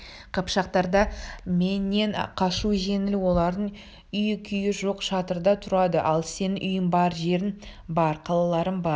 қыпшақтарға менен қашу жеңіл олардың үйі-күйі жоқ шатырда тұрады ал сенің үйің бар жерің бар қалаларың бар